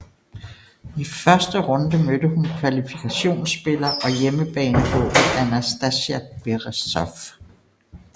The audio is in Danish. I første runde mødte hun kvalifikationsspiller og hjemmebanehåbet Anastasia Berezov